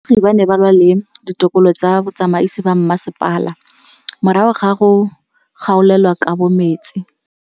Baagi ba ne ba lwa le ditokolo tsa botsamaisi ba mmasepala morago ga go gaolelwa kabo metsi